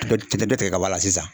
Dɔ dɔ tigɛ ka bɔ a la sisan